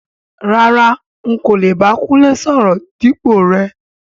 Rárá,n kò lè bá Kúnlé sọ̀rọ̀ dípò rẹ.